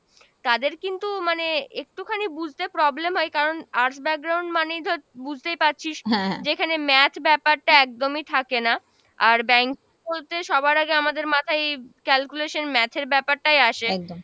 তাদের কিন্তু মানে একটুখানি বুঝতে problem হয়, কারণ arts মানেই ধর, বুঝতেই পারছিস যেখানে math ব্যাপারটা একদমই থাকে না, আর bank বলতে সবার আগে আমাদের মাথায় calculation math এর ব্যাপারটাই আসে।